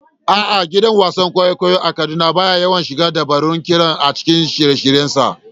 A'a, gidan wasan kwaikwayo a Kaduna ba ya yawan shigar da dabarun ƙira a cikin shirye-shiryensa.